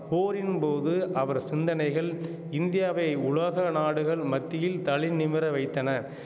போரின் போது அவர் சிந்தனைகள் இந்தியாவை உலக நாடுகள் மத்தியில் தலை நிமிர வைத்தன